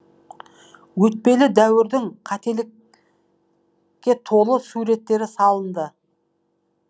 өтпелі дәуірдің қателіккетолы суреттері салынды